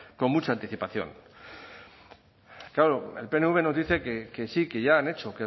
con mucha anticipación claro el pnv nos dice que sí que ya han hecho